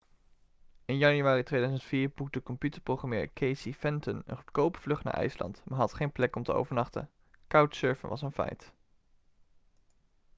in januari 2004 boekte computerprogrammeur casey fenton een goedkope vlucht naar ijsland maar had geen plek om te overnachten couchsurfen was een feit